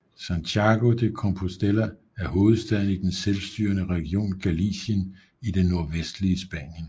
Santiago de Compostela er hovedstaden i den selvstyrende region Galicien i det nordvestlige Spanien